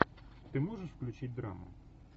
ты можешь включить драму